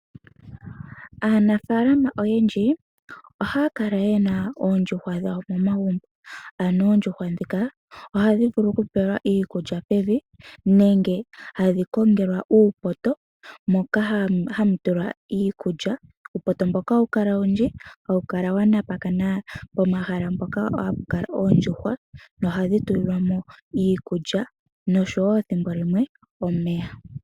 Aanafaalama oyendji ohaya kala ye na oondjuhwa dhawo momagumbo. Ano oondjuhwa ndhika ohadhi vulu okupelwa iikulya pevi, nenge hadhi kongelwa uupoto moka hamu tulwa iikulya. Uupoto mboka ohawu kala owundji, hawu kala wa napakana pomahala mpoka hapu kala oondjuhwa, nohadhi tulilwa mo iikulya, nosho wo thimbo limwe, omeya.